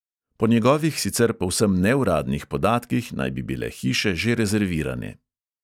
Po njegovih sicer povsem neuradnih podatkih naj bi bile hiše že rezervirane.